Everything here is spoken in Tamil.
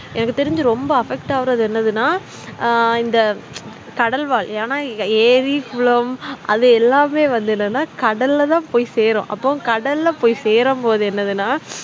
எனக்கு தெரிஞ்சு ரொம்ப affect ஆகுறது என்னனா ஆஹ் இந்த கடல்வாழ் என்னா ஏறி குளம் அது எல்லாமே வந்து என்னன்னா கடல்லத்தான் போய்சேரும்அப்போ கடள்ளசேரும்போது என்னனா